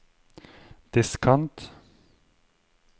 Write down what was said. diskant